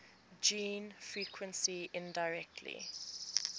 gene frequency indirectly